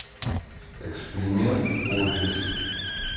эксперимент офис